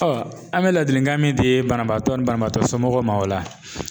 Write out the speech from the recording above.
an bɛ ladilikan min di banabagatɔ ni banabagatɔ somɔgɔw ma o la